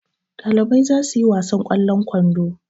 Ɗalibai za su yi wasan ƙwallon kwando.